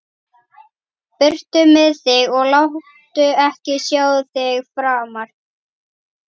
Burtu með þig og láttu ekki sjá þig framar!